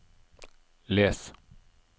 les